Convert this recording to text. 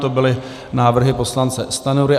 To byly návrhy poslance Stanjury.